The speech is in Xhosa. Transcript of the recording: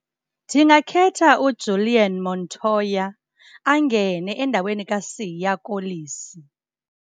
Ndingakhetha uJulian Montoya angene endaweni kaSiya Kolisi.